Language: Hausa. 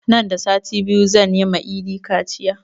Nan da sati biyu zan yi ma idi kaciya